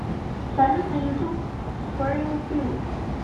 салют на ютуб фрилл пилл